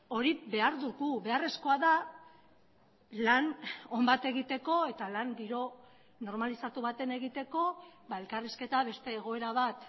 hori behar dugu beharrezkoa da lan on bat egiteko eta lan giro normalizatu baten egiteko elkarrizketa beste egoera bat